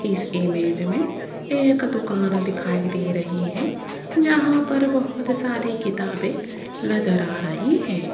इस इमेज में एक दुकान दिखाई दे रही है जहां पर बहोत सारी किताबें नजर आ रही है।